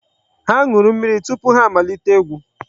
Ha ṅụrụ mmiri tupu ha amalite egwu.